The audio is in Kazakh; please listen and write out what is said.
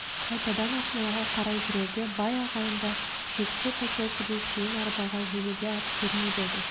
қайтадан ақмолаға қарай жүрерде бай ағайындар шеткі поселкеге шейін арбаға жегуге ат бермеп еді